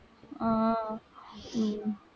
ஆஹ் உம்